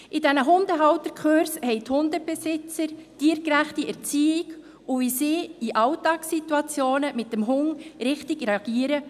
In diesen Hundehalterkursen haben die Hundebesitzer tiergerechte Erziehung lernen können und wie sie in Alltagssituationen mit dem Hund richtig reagieren.